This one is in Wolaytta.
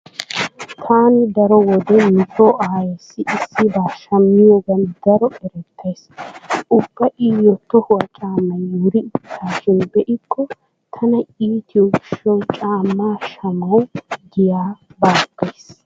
Taani daro wode nu so aayeessi issibaa shammiyogan daro erettays. Ubba iyo tohuwa caammay wuri uttaashin be'ikko tana iitiyo gishshawu caammaa shamawu giya baaggays.